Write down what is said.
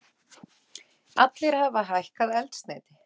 Allir hafa hækkað eldsneyti